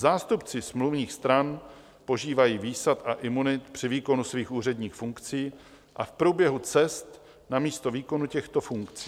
Zástupci smluvních stran požívají výsad a imunit při výkonu svých úředních funkcí a v průběhu cest na místo výkonu těchto funkcí.